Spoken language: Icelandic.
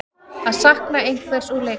Að sakna einhvers úr leikskólanum